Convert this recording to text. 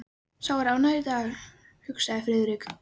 Sá er ánægður í dag, hugsaði Friðrik.